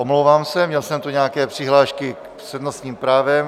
Omlouvám se, měl jsem tu nějaké přihlášky s přednostním právem.